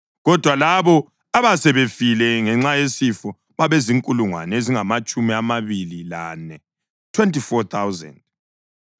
kodwa labo abasebefile ngenxa yesifo babezinkulungwane ezingamatshumi amabili lane (24,000).